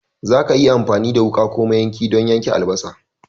Za ka iya amfani da wuka ko mayanki don yanka albasa.